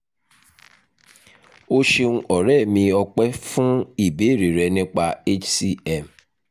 o ṣeun ọ̀rẹ́ mi ọ̀pẹ́ fún ìbéèrè rẹ nípa hcm